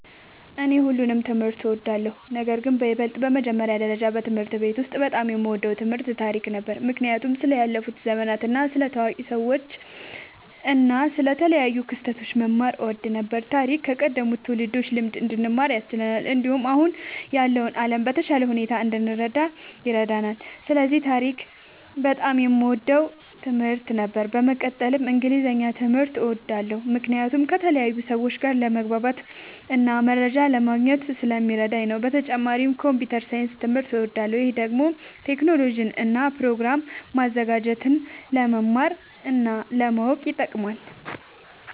እኔ ሁሉንም ትምህርት እወዳለሁ፤ ነገርግን በይበልጥ በመጀመሪያ ደረጃ በትምህርት ቤት ውስጥ በጣም የምወደው ትምህርት ታሪክ ነበር። ምክንያቱም ስለ ያለፉ ዘመናት፣ ስለ ታዋቂ ሰዎች እና ስለ ተለያዩ ክስተቶች መማር እወድ ነበር። ታሪክ ከቀደሙት ትውልዶች ልምድ እንድንማር ያስችለናል፣ እንዲሁም አሁን ያለውን ዓለም በተሻለ ሁኔታ እንድንረዳ ይረዳናል። ስለዚህ ታሪክ በጣም የምወደው ትምህርት ነበር። በመቀጠልም እንግሊዝኛ ትምህርት እወዳለሁ ምክንያቱም ከተለያዩ ሰዎች ጋር ለመግባባትና መረጃ ለማግኘት ስለሚረዳኝ ነዉ። በተጨማሪም ኮምፒዉተር ሳይንስ ትምህርትም እወዳለሁ። ይህ ደግሞ ቴክኖሎጂን እና ፕሮግራም ማዘጋጀትን ለመማር እና ለማወቅ ይጠቅማል።